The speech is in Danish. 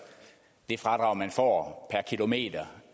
det fradrag man får per kilometer